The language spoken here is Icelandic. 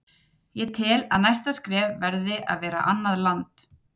Ég tel að næsta skref verði að vera annað land.